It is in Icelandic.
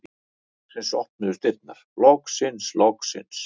Loksins opnuðust dyrnar, loksins, loksins!